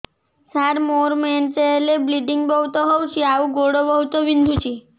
ସାର ମୋର ମେନ୍ସେସ ହେଲେ ବ୍ଲିଡ଼ିଙ୍ଗ ବହୁତ ହଉଚି ଆଉ ଗୋଡ ବହୁତ ବିନ୍ଧୁଚି